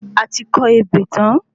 Ati kọ ebè tán